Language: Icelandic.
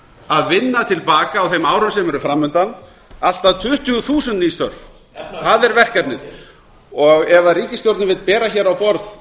að vinna til baka á þeim árum sem eru fram undan allt að tuttugu þúsund ný störf það er verkefnin ef ríkisstjórnin vill bera á borð